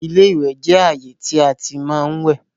iléwẹ̀ jẹ ààyè tí a tí má ń wẹ̀